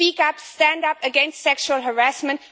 Speak up, stand up against sexual harassment.